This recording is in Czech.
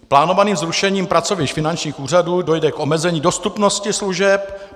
Plánovaným zrušením pracovišť finančních úřadů dojde k omezení dostupnosti služeb.